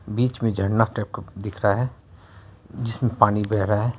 बीच मे झरना टाइप का दिख रहा है जिसमे पानी बेहे रहा है।